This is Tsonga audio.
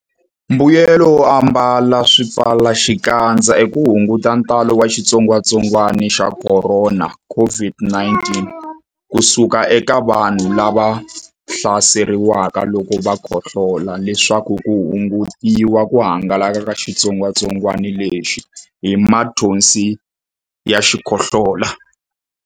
Mbuyelonkulu wo ambala swipfalaxikandza i ku hunguta ntalo wa xitsongwantsongwana xa Khorona, COVID-19, ku suka eka vanhu lava hlaseriweke loko va khohlola leswaku ku hungutiwa ku hangalaka ka xitsongwantsongwana lexi hi mathonsi ya xikhohlola.